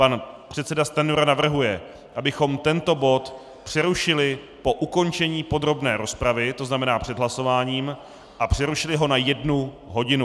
Pan předseda Stanjura navrhuje, abychom tento bod přerušili po ukončení podrobné rozpravy, to znamená před hlasováním, a přerušili ho na jednu hodinu.